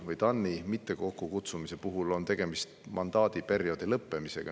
TAN-i ei kutsuta kokku sellepärast, et mandaadi perioodi lõppeb.